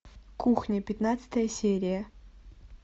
кухня пятнадцатая серия